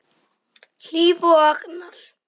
Hlíf og Agnar.